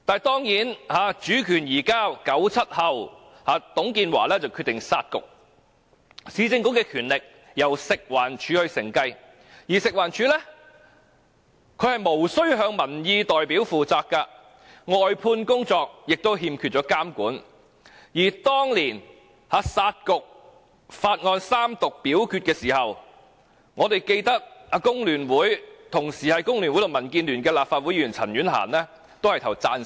當然 ，1997 年主權移交後，董建華決定"殺局"，市政局的權力由食環署承繼，而食環署卻無須向民意代表負責，外判工作亦欠缺監管，而當年"殺局"法案三讀表決時，我們記得同時身兼工聯會及民建聯成員的立法會前議員陳婉嫻投票贊成。